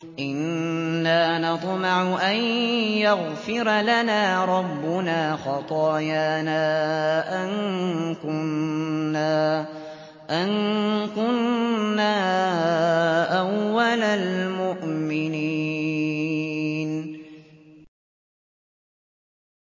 إِنَّا نَطْمَعُ أَن يَغْفِرَ لَنَا رَبُّنَا خَطَايَانَا أَن كُنَّا أَوَّلَ الْمُؤْمِنِينَ